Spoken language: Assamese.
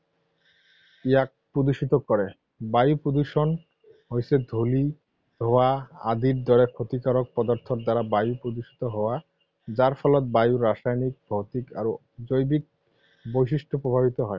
ইয়াক প্ৰদূষিত কৰে। বায়ু প্ৰদূষণ হৈছে ধূলি, ধোঁৱা আদিৰ দৰে ক্ষতিকাৰক পদাৰ্থৰ দ্বাৰা বায়ু প্ৰদূষিত হয়। যাৰ ফলত বায়ু ৰাসায়নিক, ভৌতিক আৰু জৈৱিক বৈশিষ্ট প্ৰভাৱিত হয়।